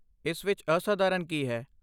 ਇਸ ਵਿੱਚ ਅਸਾਧਾਰਨ ਕੀ ਹੈ?